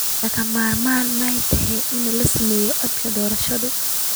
Ma lagama maarmaan ma tahay in la sameeyo codsi doorasho?